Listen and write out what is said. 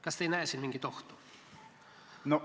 Kas te ei näe siin mingit ohtu?